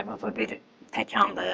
Nəfəsə bir təkandır.